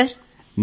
అలాగే సర్